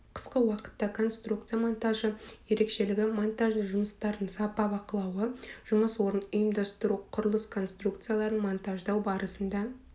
қысқы уақытта конструкция монтажы ерекшелігі монтажды жұмыстардың сапа бақылауы жұмыс орнын ұйымдастыру құрылыс конструкцияларын монтаждау барысында